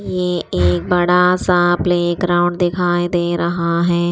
ये एक बड़ा सा प्लेग्राउंड दिखाई दे रहा है।